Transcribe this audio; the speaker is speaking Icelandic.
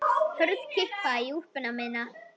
Hörð kippa í úlpuna mína.